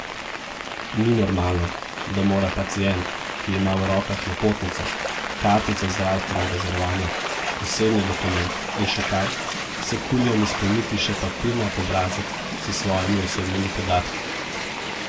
Ni normalno, da mora pacient, ki ima v rokah napotnico, kartico zdravstvenega zavarovanja, osebni dokument in še kaj, s kulijem izpolniti še papirnat obrazec s svojimi osebnimi podatki.